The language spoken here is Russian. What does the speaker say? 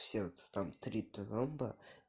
в сердце там три тромба